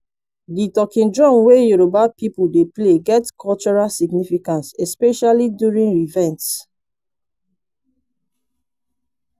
di talking drum wey yoruba people dey play get cultural significance especially during events